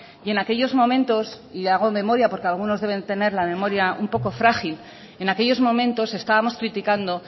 y en aquellos momentos y hago memoria porque algunos deben tener la memoria un poco frágil en aquellos momentos estábamos criticando